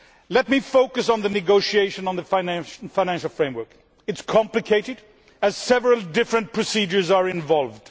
Let me focus on the negotiations on the financial framework. They are complicated, as several different procedures are involved.